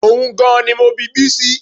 Ohun gan-an ni mo bi Bísí